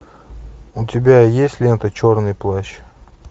у тебя есть лента черный плащ